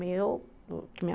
meu